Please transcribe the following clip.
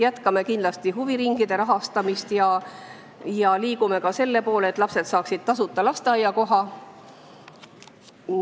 Jätkame kindlasti huviringide rahastamist ja liigume ka selle poole, et lapsed saaksid tasuta lasteaiakoha.